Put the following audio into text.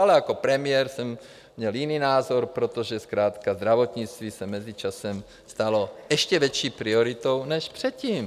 Ale jako premiér jsem měl jiný názor, protože zkrátka zdravotnictví se mezičasem stalo ještě větší prioritou než předtím.